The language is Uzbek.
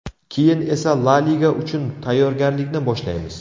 Keyin esa La liga uchun tayyorgarlikni boshlaymiz.